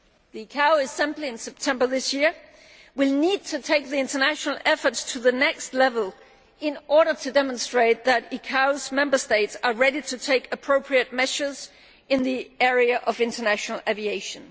The ICAO Assembly in September 2013 will need to take the international efforts to the next level in order to demonstrate that the ICAO's member states are ready to take appropriate measures in the area of international aviation.